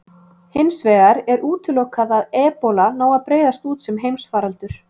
Hins vegar er útilokað að ebóla nái að breiðast út sem heimsfaraldur.